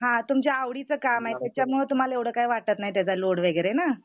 हां तुमच्या आवडीचं काम आहे त्याच्यामुळे तुम्हाला एवढं काही वाटत नाही त्याचा लोड वगैरे ना.